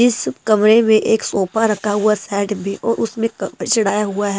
इस कमरे में एक सोफा रखा हुआ साइड भी और उसमें कवर चढ़ाया हुआ है।